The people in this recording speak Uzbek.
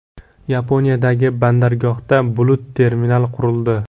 Yaponiyadagi bandargohda bulut-terminal qurildi .